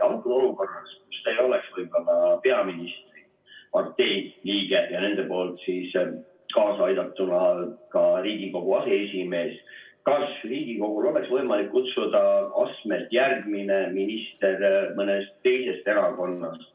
Antud olukorras, kui te ei oleks võib-olla peaministripartei liige ja nende kaasabil ka Riigikogu aseesimees, kas Riigikogul oleks võimalik kutsuda astmelt järgmine minister mõnest teisest erakonnast?